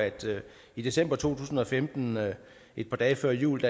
i december to tusind og femten et par dage før jul